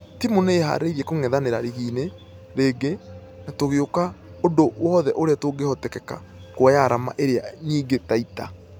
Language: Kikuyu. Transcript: Timũ nĩiharĩirie kũngethanĩra rigi-inĩ rĩngĩ na tũgũĩka ũndũ wothe ũria ũngehoteka kuoya arama iria nyingĩ taita.